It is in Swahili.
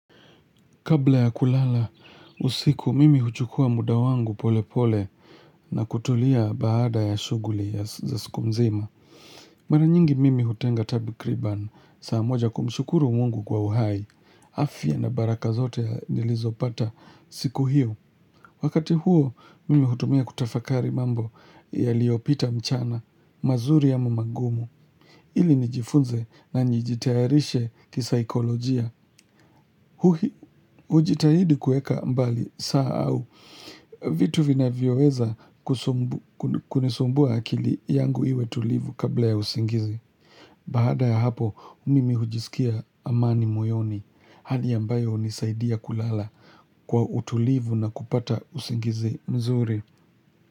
Kabla ya kulala, usiku mimi huchukua muda wangu pole pole na kutulia baada ya shughuli ya za siku mzima. Mara nyingi mimi hutenga takriban, saa moja kumshukuru mungu kwa uhai. Afya na baraka zote nilizopata siku hiyo. Wakati huo, mimi hutumia kutafakari mambo yaliyopita mchana, mazuri ama magumu. Ili nijifunze na njijitayarishe kisaikolojia. Hujitahidi kueka mbali saa au vitu vinavyoweza kunisumbua akili yangu iwe tulivu kabla ya usingizi Baada ya hapo mimi hujisikia amani moyoni Hali ambayo hunisaidia kulala kwa utulivu na kupata usingizi mzuri.